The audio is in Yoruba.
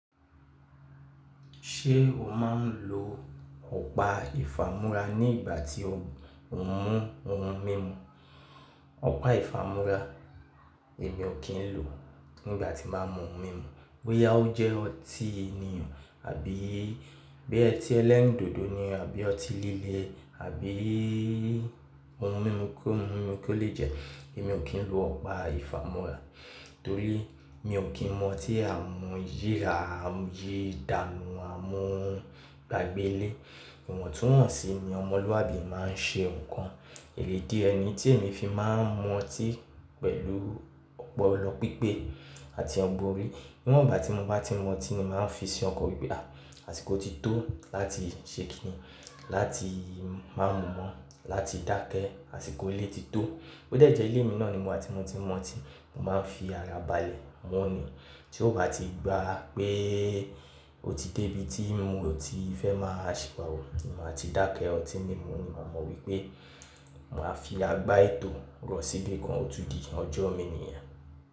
Ṣé o máa ń lo ọ̀pá ìfàmúrà ní ìgbà tí o ń mú, ohun mímu? Ọ̀pá ìfàmúrà èmi ò kí ń lò nígbà tí màá mú ohun mímu. Bóyá ó jẹ́ ọtí ni o àbí bóyá otí ẹlẹ́rìndòdò ni àbí ọtí líle àbí ohun mímu kóhun mímu kó le jẹ́, èmi ò kí ń lo ọ̀pá ìfàmúrà torí mi ò kí ń mu ọ̀tí amuyira m yì dànù, a mu gbàgbé ilé. Ìwọ̀n túwọ̀n sí ni, ọmọlúwàbí máa ń ṣe nǹkan. Èrè ìdí ẹ nií tí èmi fi máa ń mú ọtí pẹ̀lú ọ̀pọlọ́ pípé àti ọ̀gbọ̀n orí. Níwọ̀n ìgbá tí mo bá ti n mú ọtí ni màá n fi sí ọkàn wípé ah àsìkò ti tó láti ṣé kini, láti ma mú mọ, láti dákẹ́ àsìkò ilẹ̀ ti tó. Ó dẹ̀ jẹ́ ilé mi náà ni mo wá ti mo ti n mú ọtí, mo máa ń fi ara balẹ̀ mú ni. Tí ó bá ti gba pé ó ti dé ibi tí moò ti fẹ́ máa ṣìwàwu ni máa ti dákẹ́ ọtí mímu ni màá mọ̀ wípé màá fi agbá ètò rọ́ síbì kan otúdì ọjọ́ mii níyẹn.